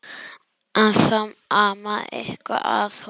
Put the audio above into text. En það amaði eitthvað að honum.